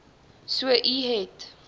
so u het